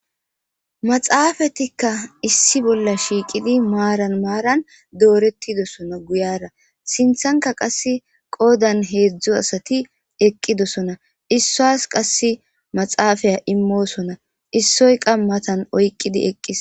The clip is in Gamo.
maxaafetikka issi bolla shiiqidi maaran maaran doorettidosona guyara sinthanka qassi qoodan heedzdzu asati eqqidosona issuwas qassi maxaafiya immoosona issoy qa matan oyqqidi eqqis